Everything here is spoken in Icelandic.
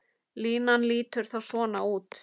Línan lítur þá svona út